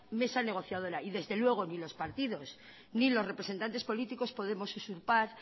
mesa negociadora y desde luego ni los partidos ni los representantes políticos podemos usurpar